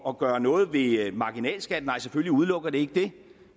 at gøre noget ved marginalskatten nej selvfølgelig udelukker det ikke det